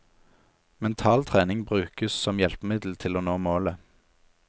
Mental trening brukes som hjelpemiddel til å nå målet.